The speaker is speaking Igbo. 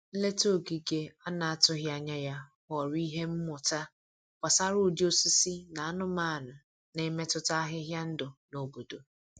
Nleta ogige a na-atụghị anya ya ghọrọ ihe mmụta gbasara ụdị osisi na anumanụ na-emetụta ahịhịa ndụ na obodo.